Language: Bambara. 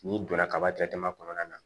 N'i donna kaba kɔnɔna na